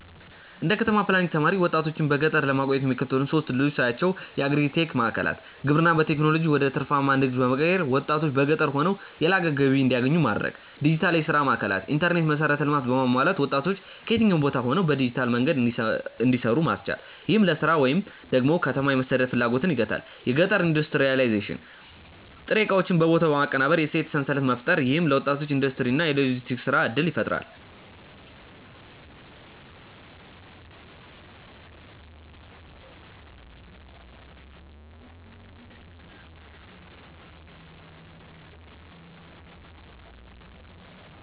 እንደ ከተማ ፕላኒንግ ተማሪ፣ ወጣቶችን በገጠር ለማቆየት የሚከተሉትን ሶስት ዕድሎች ሳያቸው የአግሪ-ቴክ ማዕከላት: ግብርናን በቴክኖሎጂ ወደ ትርፋማ ንግድ በመቀየር፣ ወጣቶች በገጠር ሆነው የላቀ ገቢ እንዲያገኙ ማድረግ። ዲጂታል የሥራ ማዕከላት: የኢንተርኔት መሠረተ ልማት በማሟላት ወጣቶች ከየትኛውም ቦታ ሆነው በዲጂታል መንገድ እንዲሰሩ ማስቻል፣ ይህም ለሥራ ወደ ከተማ የመሰደድ ፍላጎትን ይገታል። የገጠር ኢንዱስትሪያላይዜሽን: ጥሬ ዕቃዎችን በቦታው በማቀነባበር የእሴት ሰንሰለት መፍጠር። ይህም ለወጣቶች የኢንዱስትሪ እና የሎጂስቲክስ የሥራ ዕድል ይፈጥራል።